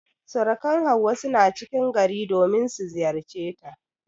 Surukan Hauwa suna cikin gari domin su ziyarceta.